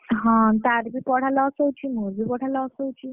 ହଁ ତାର ବି ପଢା loss ହଉଛି, ମୋର ବି loss ହଉଛି